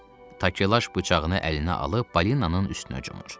Takelaş bıçağını əlinə alıb balinanın üstünə hücumur.